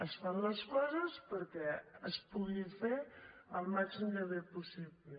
es fan les coses perquè es pugui fer al màxim de bé possible